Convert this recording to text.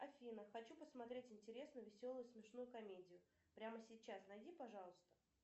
афина хочу посмотреть интересную веселую смешную комедию прямо сейчас найди пожалуйста